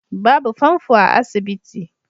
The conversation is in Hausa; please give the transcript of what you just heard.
Babu fanfo a asibiti